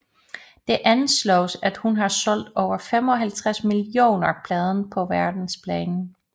Det anslås at hun har solgt over 55 millioner plader på verdensplan